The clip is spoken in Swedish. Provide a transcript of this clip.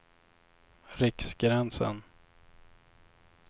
Riksgränsen